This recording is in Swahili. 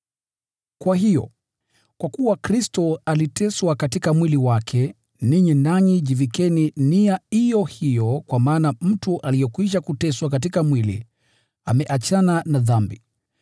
Kwa hiyo, kwa kuwa Kristo aliteswa katika mwili wake, ninyi nanyi jivikeni nia iyo hiyo kwa maana mtu aliyekwisha kuteswa katika mwili ameachana na dhambi.